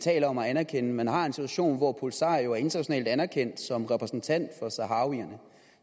taler om at anerkende man har en situation hvor polisario er internationalt anerkendt som repræsentant for saharawierne